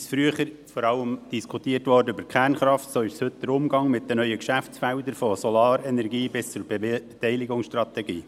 Wurde früher vor allem über die Kernkraft diskutiert, ist es heute der Umgang mit den neuen Geschäftsfeldern, von Solarenergie bis zur Beteiligungsstrategie.